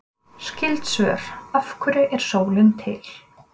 Skyld svör: Af hverju er sólin til?